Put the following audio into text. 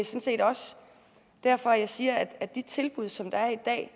set også derfor jeg siger at med de tilbud som der er i dag